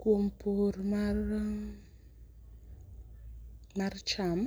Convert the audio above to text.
Kuom pur mar ,mar cham